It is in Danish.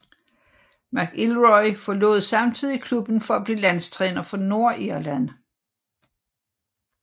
McIlroy forlod samtidig klubben for at blive landstræner for Nordirland